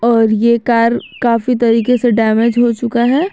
और ये कार काफी तरीके से डैमेज हो चुका है।